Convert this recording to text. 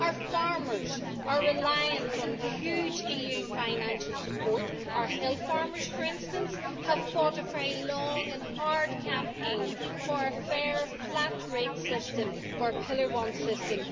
Our farmers are reliant on huge EU financial support our hill farmers, for instance, have fought a very long and hard campaign for a fairer flat-rate system, for a Pillar I system.